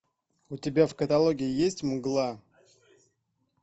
у тебя в каталоге есть мгла